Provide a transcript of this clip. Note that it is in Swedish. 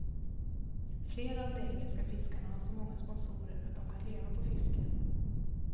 Flera av de engelska fiskarna har så många sponsorer att de kan leva på fiske.